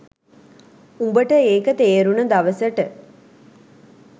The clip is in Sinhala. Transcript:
උඹට ඒක තේරුණ දවසට